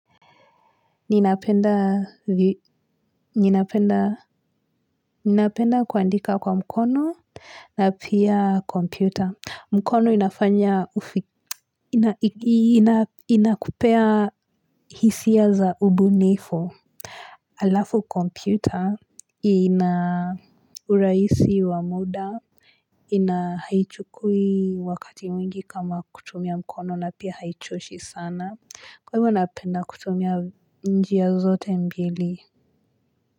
Ninapenda kuandika kwa mkono na pia kompyuta mkono inafanya ufi Inakupea hisia za ubunifo Alafu kompyuta ina uraisi wa muda ina haichukui wakati mwingi kama kutumia mkono na pia haichoshi sana Kwa hivyo inapenda kutumia njia zote mbili.